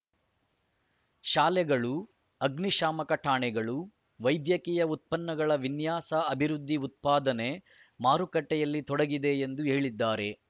ಶಾಲೆಗಳು ಅಗ್ನಿಶಾಮಕ ಠಾಣೆಗಳು ವೈದ್ಯಕೀಯ ಉತ್ಪನ್ನಗಳ ವಿನ್ಯಾಸ ಅಭಿವೃದ್ಧಿ ಉತ್ಪಾದನೆ ಮಾರುಕಟ್ಟೆಯಲ್ಲಿ ತೊಡಗಿದೆ ಎಂದು ಹೇಳಿದ್ದಾರೆ